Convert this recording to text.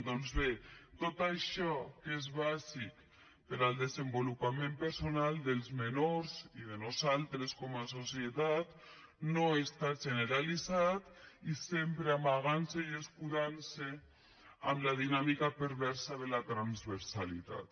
doncs bé tot això que és bàsic per al desenvolupament personal dels menors i de nosaltres com a societat no està generalitzat i sempre s’amaga i s’escuda en la dinàmica perversa de la transversalitat